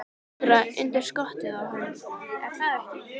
Snuðra undir skottið á henni, er það ekki?